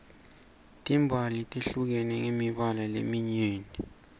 timbali tehlukene ngemibala leminyeni